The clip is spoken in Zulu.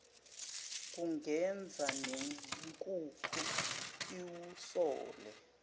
kungenza nenkukhu iwusole